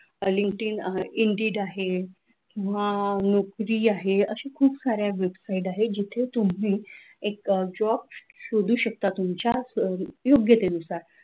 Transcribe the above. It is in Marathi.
linkedin indeed आहे किंवा नोकरी आहे असे खुप सारे web sit आहेत जिथे तुम्ही एक job शोधू शकता तुमच्या योग्यतेनुसार